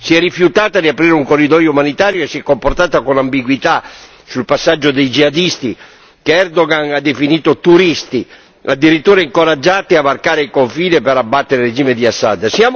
Si è rifiutata di aprire un corridoio umanitario e si è comportata con ambiguità sul passaggio dei jihadisti che Erdogan ha definito turisti, addirittura incoraggiati a varcare il confine per abbattere il regime di Assad.